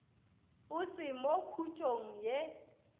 o se mo khutšong ye